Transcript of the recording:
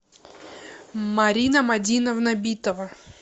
марина мадиновна битова